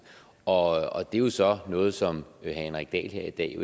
og det er jo så noget som herre henrik dahl her i dag